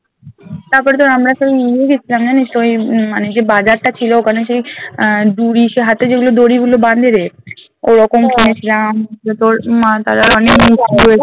তারপরে ধর আমরা সব গেছিলাম জানিস ওই উম মানে জে বাজারটা ছিল ওখানে সেই আহ দঁড়ি সেই হাতে যেগুলো দড়িগুলো বাঁধে রে ঐরকম কিনেছিলাম দিয়ে তোর মা তারার